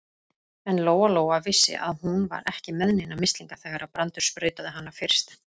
En Lóa-Lóa vissi að hún var ekki með neina mislinga þegar Brandur sprautaði hana fyrst.